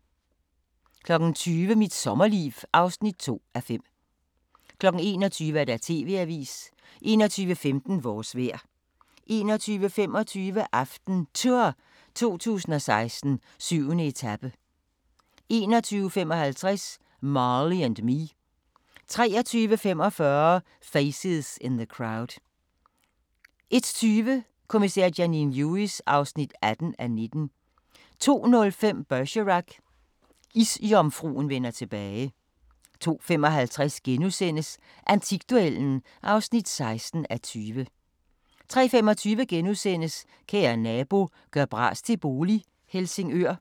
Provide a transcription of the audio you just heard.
20:00: Mit sommerliv (2:5) 21:00: TV-avisen 21:15: Vores vejr 21:25: AftenTour 2016: 7. etape 21:55: Marley & Me 23:45: Faces in the Crowd 01:20: Kommissær Janine Lewis (18:19) 02:05: Bergerac: Isjomfruen vender tilbage 02:55: Antikduellen (16:20)* 03:25: Kære nabo – gør bras til bolig - Helsingør *